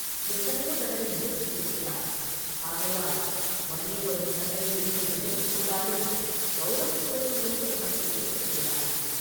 எத்தனையோ தடவை நிரூபித்திருக்கிறாய், ஆகையால் வலிய வரும் சண்டையிலிருந்து விலகிக் கொண்டாலும் கௌரவக் குறைவு ஒன்றும் உனக்கு ஏற்பட்டு விடாது.